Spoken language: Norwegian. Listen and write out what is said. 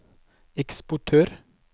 eksportør